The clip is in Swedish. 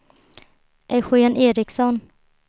Eugén Eriksson